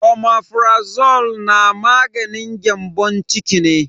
Omeprazole na maganin gyambon ciki ne.